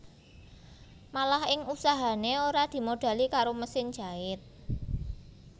Malah ing usahané ora dimodhali karo mesin jait